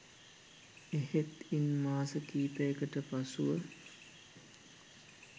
එහෙත් ඉන් මාස කිහිපයකට පසුව